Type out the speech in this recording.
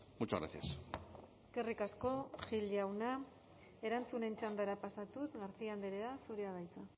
muchas gracias eskerrik asko gil jauna erantzunen txandara pasatuz garcia andrea zurea da hitza